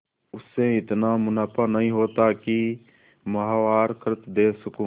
उससे इतना मुनाफा नहीं होता है कि माहवार खर्च दे सकूँ